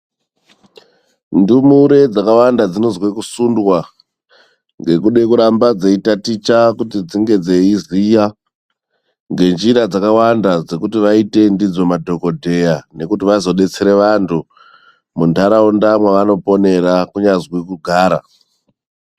Ndumure dzakawanda dzinozwe kusundwa, ngekude kuramba dzeitaticha kuti dzinge dzeiziya ngenjira dzakawanda dzekuti vaite ndidzo madhogodheya nekuti vazodetsera vanthu muntaraunda mevanoponera kunyazwi kugara.